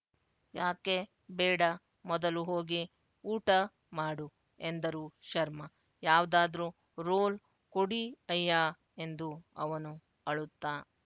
ಯಾಕೆ ಬೇಡ ಮೊದಲು ಹೋಗಿ ಊಟ ಮಾಡು ಎಂದರು ಶರ್ಮ ಯಾವ್ದಾದ್ರೂ ರೋಲ್ ಕೊಡೀ ಅಯ್ಯಾ ಎಂದು ಅವನು ಅಳುತ್ತಾ